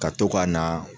Ka to ka na